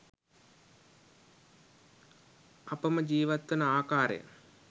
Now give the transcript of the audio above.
අපම ජීවත්වන ආකාරය